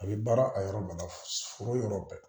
A bɛ baara a yɔrɔ mun na foro yɔrɔ bɛɛ